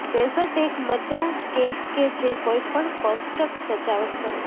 dessert એક મજા cake કે જે કોઈપણ કોષ્ટક સજાવટ કરશે